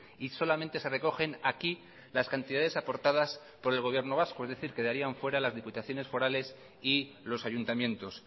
y solamente se recogen aquí las cantidades aportadas por el gobierno vasco es decir quedarían fuera las diputaciones forales y los ayuntamientos